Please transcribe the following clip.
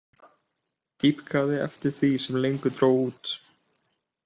Dýpkaði eftir því sem lengra dró út.